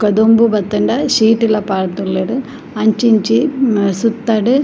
ಬೊಕ್ಕ ದೊಂಬು ಬತ್ತುಂಡ ಶೀಟ್ಲ ಪಾಡ್ದುಲ್ಲೆರ್ ಅಂಚಿ ಇಂಚಿ ಸುತ್ತಡ್ --